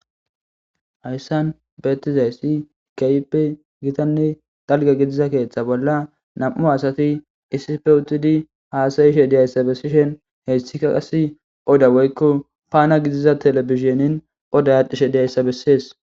Hayssan bettizayisi kehippe gitanne dalgga gidiza keththan bola nam'u asati issippe uttidi hassa'she dizayissa besishen hayssika odda woyikko panna giza telebizinen odday adhishsh dizayisa besses